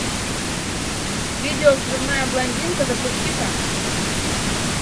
видео взрывная блондинка запусти ка